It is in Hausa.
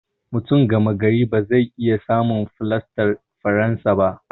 Mutum gama gari ba zai iya samun fulastar faransa ba.